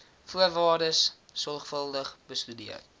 voorwaardes sorgvuldig bestudeer